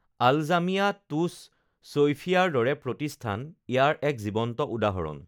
আলজামিয়া টুছ ছৈফিয়াৰ দৰে প্ৰতিষ্ঠান ইয়াৰ এক জীৱন্ত উদাহৰণ